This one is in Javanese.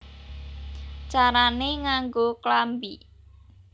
Carané Nganggo Klambi